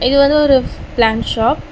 இது வந்து ஒரு ஃப் பிளான்ட் ஷாப் .